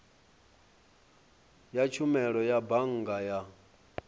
ya tshumelo ya bannga ya